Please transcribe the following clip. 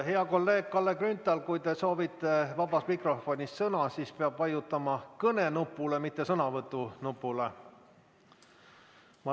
Hea kolleeg Kalle Grünthal, kui te soovite vabas mikrofonis sõna, siis peab vajutama kõne nupule, mitte sõnavõtu nupule.